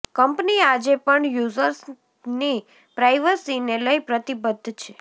company આજે પણ યુઝર્સની પ્રાઈવસીને લઈ પ્રતિબદ્ધ છે